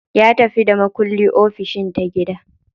Ya tafi da makulli ofishin ta gida.